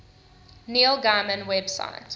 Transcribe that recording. neil gaiman website